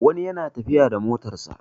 wani yana tafiya da motarsa